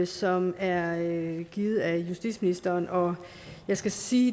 som er givet af justitsministeren og jeg skal sige